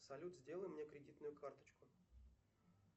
салют сделай мне кредитную карточку